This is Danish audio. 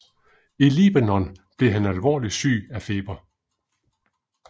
I Libanon blev han alvorligt syg af feber